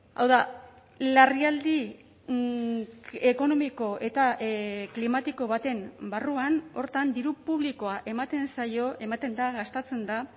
hau da larrialdi ekonomiko eta klimatiko baten barruan horretan diru publikoa ematen zaio ematen da gastatzen da